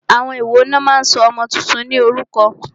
Àwọn wòó ní o máà ń sọ ọmọ túntún ní orúkọ?